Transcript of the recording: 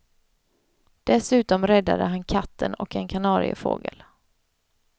Dessutom räddade han katten och en kanariefågel.